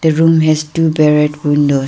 room has two barrett window.